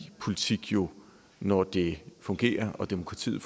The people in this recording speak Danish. politik jo når det fungerer og demokratiet